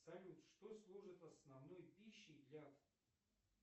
салют что служит основной пищей для